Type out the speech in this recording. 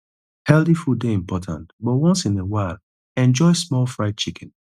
healthy food dey important but once in a while enjoy small fried chicken